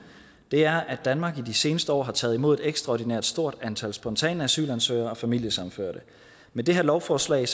er at danmark i de seneste år har taget imod et ekstraordinært stort antal spontane asylansøgere og familiesammenførte med det her lovforslag